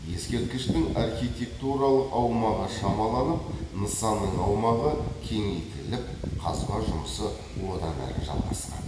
ескерткіштің архитектуралық аумағы шамаланып нысанның аумағы кеңейті ліп қазба жұмысы одан әрі жалғасқан